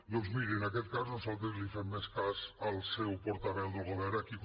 doncs miri en aquest cas nosaltres li fem més cas al seu portaveu del govern a qui